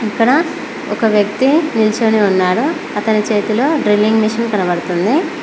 ఇక్కడ ఒక వ్యక్తి నిలుచొని ఉన్నాడు అతని చేతులో డ్రిల్లింగ్ మిషిన్ కనపడ్తున్నది